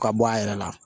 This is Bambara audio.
Ka bɔ a yɛrɛ la